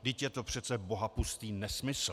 Vždyť je to přece bohapustý nesmysl.